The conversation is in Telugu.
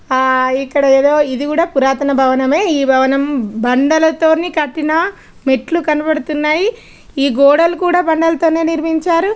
ఇక్కడ ఎదో ఇధి కూడా పురాతన భావనమే ఈ భవనం బండల తోని కట్టిన మెట్లు కనపడుతున్నాయి ఈ గోడలు కూడా బండాలతోనే నిర్మించారు.